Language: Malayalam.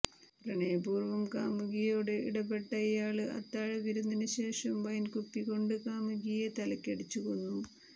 പ്രണയപൂര്വ്വം കാമുകിയോട് ഇടപെട്ട ഇയാള് അത്താഴ വിരുന്നിന് ശേഷം വൈന്കുപ്പികൊണ്ട് കാമുകിയെ തലയ്ക്കടിച്ച് കൊന്നു